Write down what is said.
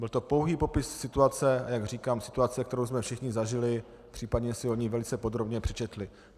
Byl to pouhý popis situace, jak říkám, situace, kterou jsme všichni zažili, případně si o ní velice podrobně přečetli.